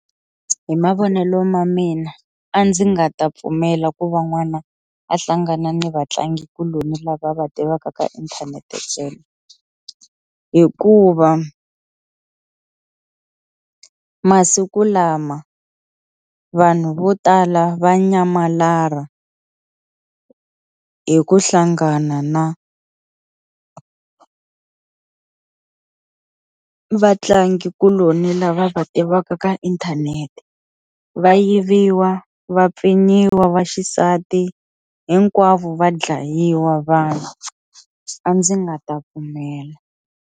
Hi mavonelo ma mina a ndzi nga ta pfumela ku va n'wana a hlangana ni vatlangikuloni lava va tivaka ka inthanete tsena hikuva masiku lama vanhu vo tala va nyamalala hi ku hlangana na vatlangikuloni lava va tivaka ka inthanete va yiviwa, va pfinyiwa va xisati hinkwavo va dlayiwa vanhu a ndzi nga ta pfumela.